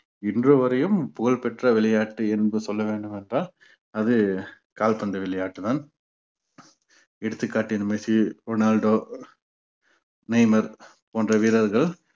இன்று வரையும் புகழ்பெற்ற விளையாட்டு என்று சொல்ல வேண்டும் என்றால் அது கால்பந்து விளையாட்டுதான் எடுத்துக்காட்டு மெர்ஸி டொனல்டோ மெய்மர் போன்ற வீரர்கள்